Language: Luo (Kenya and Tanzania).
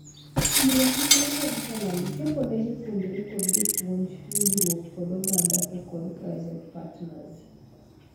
Siro chik ne carriculum, chopo ne jopuonjre kod jopuonj, winjruok kod oganda to kod private partners.